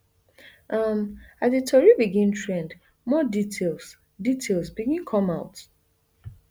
um as di tori begin trend more details details begin come out